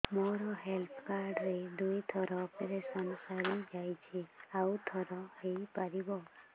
ମୋର health card ରେ ଦୁଇ ଥର ଅପେରସନ ସାରି ଯାଇଛି ଆଉ ଥର ହେଇପାରିବ